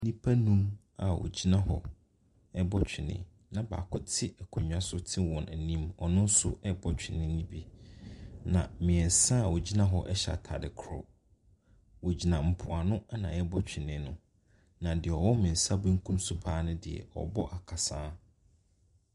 Nnipa nnum a wɔgyina hɔ ɛɛbɔ twenee na baako te akonnwa so te wɔn anim. Ɔno nsoo bɔ twenee ne bi. Na mmiɛnsa wɔgyina hɔ ɛhyɛ ataade korɔ. Wɔ gyina mpo ano na ɛɛbɔ twenee no. Na deɛ ɔwɔ me nsa benkum so paa ne deɛ, ɔɔbɔ akasaa.